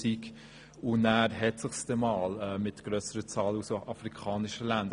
Dann hat es sich einmal mit grösseren Zahlen aus afrikanischen Ländern.